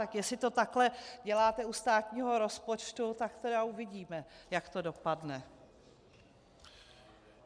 Tak jestli to takhle děláte u státního rozpočtu, tak tedy uvidíme, jak to dopadne.